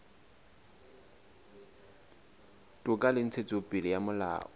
toka le ntshetsopele ya molao